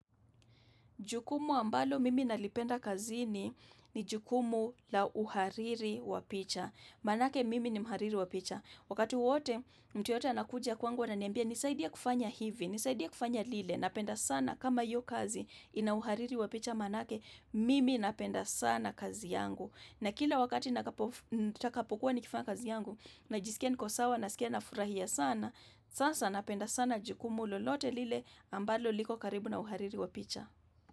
Jukumu ambalo mimi nalipenda kazini, ni jukumu la uhariri wa picha. Manake mimi ni mhariri wa picha. Wakati wowote, mtu yoyote anakuja kwangu ananiambia, nisaidie kufanya hivi, nisaidie kufanya lile, napenda sana kama hiyo kazi, ina uhariri wa picha manake, mimi napenda sana kazi yangu. Na kila wakati nitakapokuwa nikifanya kazi yangu, najisikia niko sawa, nasikia na furahia sana, sasa napenda sana jukumu lolote lile ambalo liko karibu na uhariri wa picha.